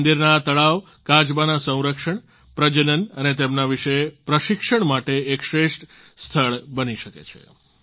મંદિરોના આ તળાવ કાચબાના સંરક્ષણ પ્રજનન અને તેમના વિશે પ્રશિક્ષણ માટે એક શ્રેષ્ઠ સ્થળ બની શકે છે